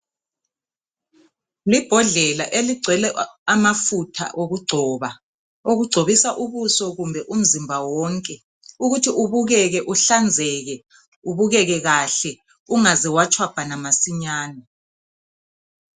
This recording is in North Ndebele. Libhodlela eligcwele amafutha okugcoba okugcobisa ubuso kumbe umzimba wonke ukuthi ubukeke uhlanzeke ubukeke kahle ungaze watshwabhana masinyane.